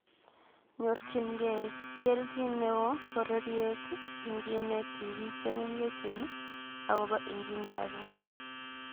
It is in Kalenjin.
Nyorchinkei kelchin neoo pororyeet ingineet tipiik chemengechen agopo engineering